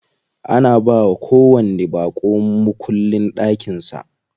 Ana bawa kowanni baƙo mukullin ɗakin sa.